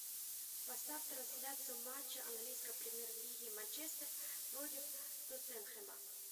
поставь трансляцию матча английской премьер лиги манчестер против тоттенхэма